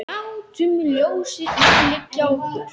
Látum ljósið umlykja okkur.